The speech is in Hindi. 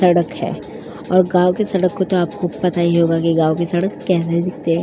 सड़क है और गांव की सड़क तो आपको पता ही होगा गांव की सड़क कैसी दिखती है।